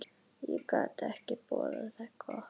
Það gat ekki boðað gott.